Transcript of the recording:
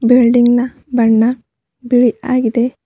Building ನ ಬಣ್ಣ ಬಿಳಿ ಆಗಿದೆ.